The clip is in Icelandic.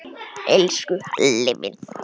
Elsku Halli minn.